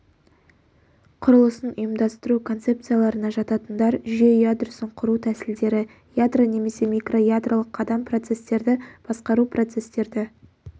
құрылысын ұйымдастыру концепсияларына жататындар жүйе ядросын құру тәсілдері ядро немесе микроядролық қадам процестерді басқару процестерді